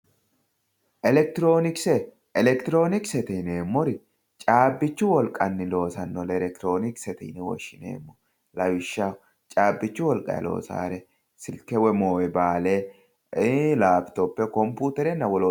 Elekitroonikise, elekitiroonikise yineemmori caabbichu wolqanni loosannore elekitiroonikisete yine woshshineemmo lawishshaho caabbichu wolqayi loosannore silke woyi moobaayiile, lapitoppe kompuuterenna wolootta.